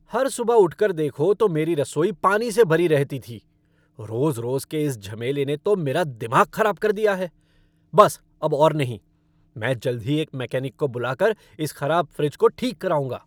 हर सुबह उठकर देखो तो मेरी रसोई पानी से भरी रहती थी। रोज़ रोज़ के इस झमेले ने तो मेरा दिमाग ख़राब कर दिया है। बस अब और नहीं! मैं जल्द ही एक मेकैनिक को बुलाकर इस ख़राब फ़्रिज को ठीक कराऊँगा।